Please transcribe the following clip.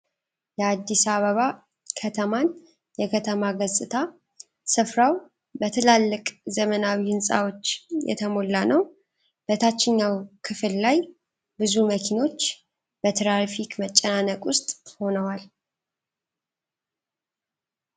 የ"አዲስ አበባ" ከተማን የከተማ ገጽታ ። ስፍራው በትላልቅ ዘመናዊ ሕንፃዎች የተሞላ ነው። በታችኛው ክፍል ላይ ብዙ መኪኖች በትራፊክ መጨናነቅ ውስጥ ሆነዋል ።